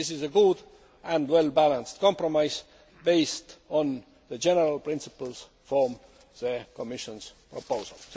This is a good and well balanced compromise based on the general principles from the Commission's proposal.